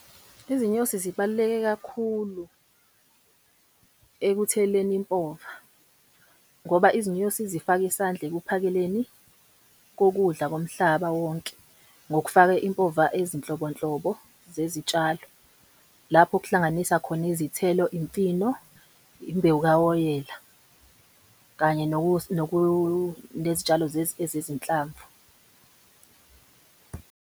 Izinyosi zibaluleke kakhulu ekutheleleni impova, ngoba izinyosi zifaka isandla ekuphakeleni kokudla komhlaba wonke ngokufaka impova ezinhlobonhlobo zezitshalo. Lapho kuhlanganisa khona izithelo, imfino, imbewu kawoyela kanye nezitshalo ezezinhlamvu.